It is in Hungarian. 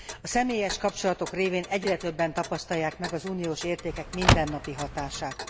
A személyes kapcsolatok révén egyre többen tapasztalják meg az uniós értékek mindennapi hatását.